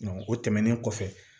o tɛmɛnen kɔfɛ